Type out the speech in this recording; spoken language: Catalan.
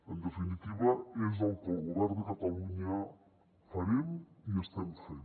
en definitiva és el que el govern de catalunya farem i estem fent